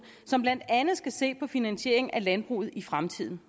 som blandt andet skal se på finansieringen af landbruget i fremtiden